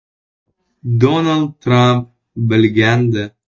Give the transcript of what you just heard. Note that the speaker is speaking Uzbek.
Donald Tramp bilgandi.